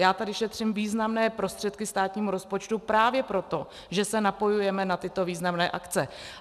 Já tady šetřím významné prostředky státnímu rozpočtu právě proto, že se napojujeme na tyto významné akce.